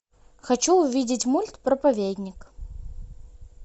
хочу увидеть мульт проповедник